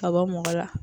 Ka bɔ mɔgɔ la